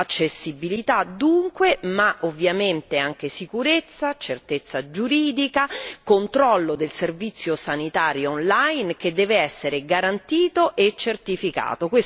Accessibilità dunque ma ovviamente anche sicurezza, certezza giuridica, controllo del servizio sanitario online, che dev'essere garantito e certificato